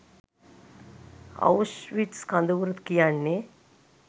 Auschwitz කඳවුර කියන්නේ